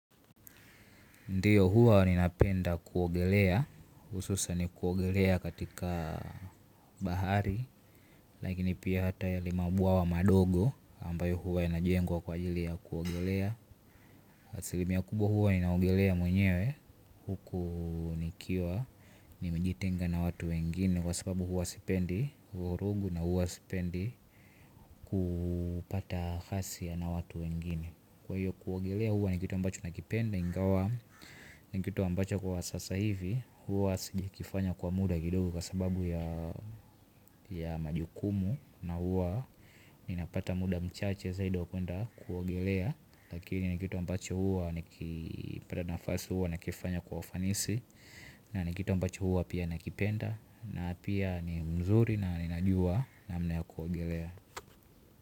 Ndiyo huwa ninapenda kuogelea ususani kuogelea katika bahari. Lakini pia hata hiyo ni mabwawa wa madogo ambayo huwa inajengwa kwa ajili ya kuogelea asilimia kubwa huwa inaogelea mwenyewe. Huku nikiwa nimejitenga na watu wengine. Kwa sababu huwa sipendi vurugu na huwa sipendi kupata fasi na watu wengine. Kwa hiyo kuogelea huwa ni kitu ambacho nakipenda ingawa ni kitu ambacho kwa sasa hivi huwa singekifanya kwa muda kidogo. Kwa sababu ya majukumu na huwa ninapata muda mchache zaidi wa kuenda Kuogelea. Lakini ni kitu ambacho huwa ni kipata nafasi huwa na kifanya kwa ufanisi na ni kitu ambacho huwa pia nakipenda na pia ni mzuri na ninajua namna ya kuogelea.